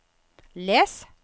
les